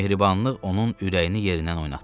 Bu mehribanlıq onun ürəyini yerindən oynatdı.